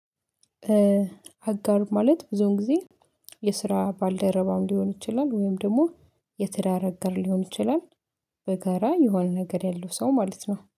አጋር ማለት ብዙውን ጊዜ የስራ ባልደረባም ሊሆን ይችላል ወይም ደግሞ የትዳር አገር ሊሆን ይችላል በጋራ የሆነ ነገር ያለው ሰው ማለት ነው።